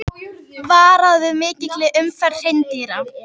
Varað við mikilli umferð hreindýra